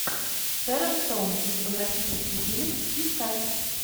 шерон стоун кинематографический фильм искать